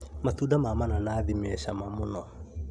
Matunda ma mananathi me cama muno